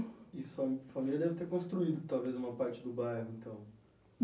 E sua família deve ter construído, talvez, uma parte do bairro, então?